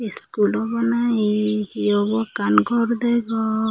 school obw nahi hi obw ekkan gor degong.